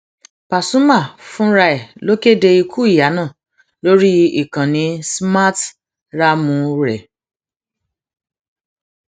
pasumà fúnra ẹ ló kéde ikú ìyá náà lórí ìkànnì smarthraàmù rẹ